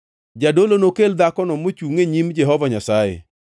“ ‘Jadolo nokel dhakono mochungʼ e nyim Jehova Nyasaye.